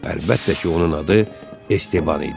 Əlbəttə ki, onun adı Estebann idi.